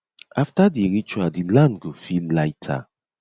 after di ritual di land go feel lighter